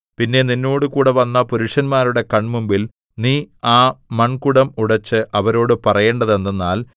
പിന്നെ നിന്നോടുകൂടെ വന്ന പുരുഷന്മാരുടെ കൺമുമ്പിൽ നീ ആ മൺകുടം ഉടച്ച് അവരോടു പറയേണ്ടതെന്തെന്നാൽ